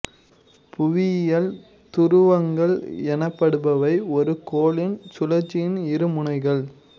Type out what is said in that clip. புவியியல் துருவங்கள் எனப்படுபவை ஒரு கோளின் சுழலச்சின் இரு முனைகள்